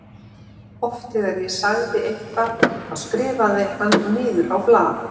Oft þegar ég sagði eitthvað þá skrifaði hann niður á blað.